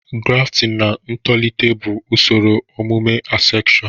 Grafting na ntolite bụ usoro ọmụmụ asexual